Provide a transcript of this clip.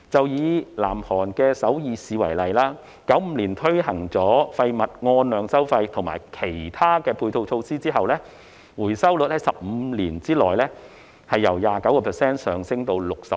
以南韓首爾市為例 ，1995 年推行廢物按量收費及其他的配套措施後，回收率在15年內由 29% 上升至 66%。